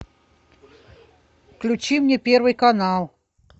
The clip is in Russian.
включи мне первый канал